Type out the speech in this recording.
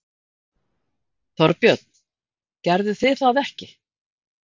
Þorbjörn: Gerðuð þið það ekki?